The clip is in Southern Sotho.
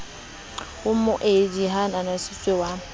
ho moabi ya ananetsweng wa